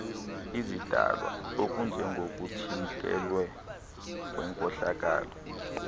izidalwa okunjengokuthintelwa kwenkohlakalo